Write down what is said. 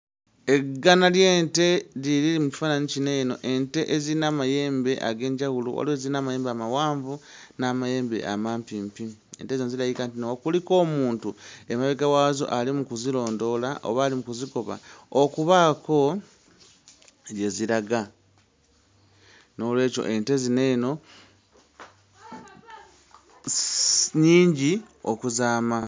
Eggana ly'ente lye liri mu kifaananyi kino eno; ente eziyina amayembe ag'enjawulo waliwo eziyina amayembe amawanvu n'amayembe amampimpi ente zino zirabika nti nno kuliko omuntu emabega waazo ali mu kuzirondoola oba ali mu kuzikuba okubaako gye ziraga. Noolwekyo ente zino eno si nnyingi okuzaama.